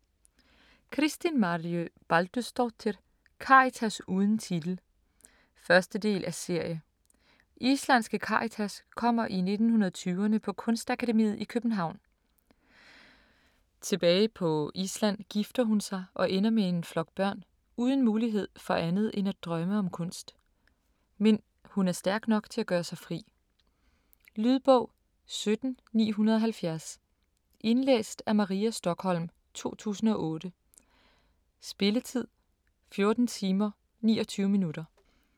Kristín Marja Baldursdóttir: Karitas uden titel 1. del af serie. Islandske Karitas kommer i 1920'erne på Kunstakademiet i København. Tilbage på Island gifter hun sig og ender med en flok børn - uden mulighed for andet end at drømme om kunst. Men hun er stærk nok til at gøre sig fri. Lydbog 17970 Indlæst af Maria Stokholm, 2008. Spilletid: 14 timer, 29 minutter.